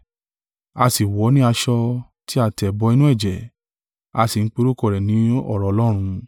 A sì wọ̀ ọ́ ní aṣọ tí a tẹ̀ bọ inú ẹ̀jẹ̀, a sì ń pe orúkọ rẹ̀ ní Ọ̀rọ̀ Ọlọ́run.